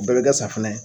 O bɛɛ bɛ kɛ safunɛ ye